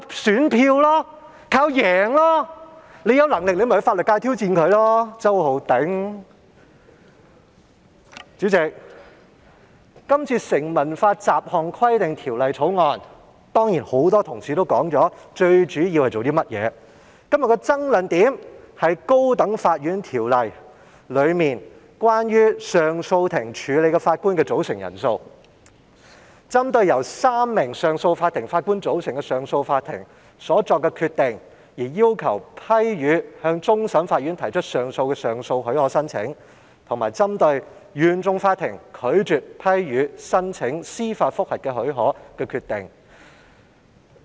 主席，今天討論的《2019年成文法條例草案》，很多同事也提到它的主要功用，而今天的爭論點便是在《高等法院條例》中有關上訴法庭處理的法官組成人數，以裁定相關案件。即針對由少於3名上訴法庭法官組成的上訴法庭所作的決定，而要求批予向終審法院提出上訴的上訴許可申請，以及針對原訟法庭拒絕批予申請司法覆核的許可的決定。